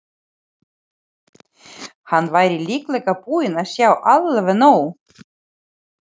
Hann væri líklega búinn að sjá alveg nóg.